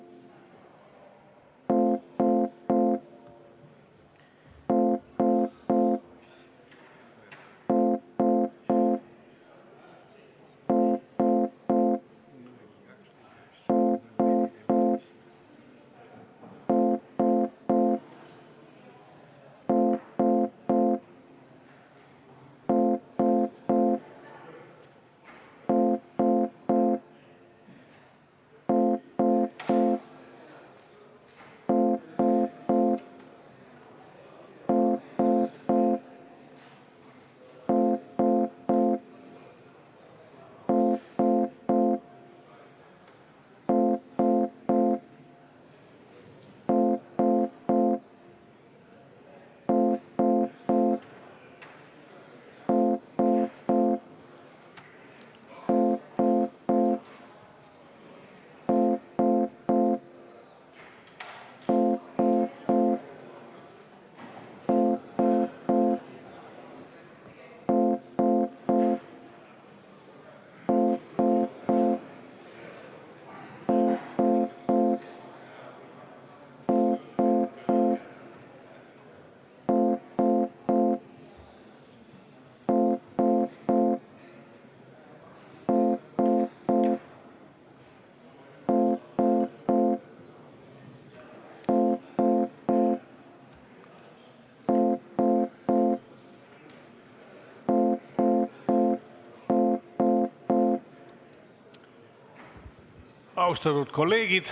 Austatud kolleegid!